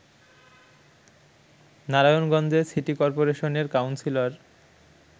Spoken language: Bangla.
নারায়ণগঞ্জে সিটি করপোরেশনের কাউন্সিলর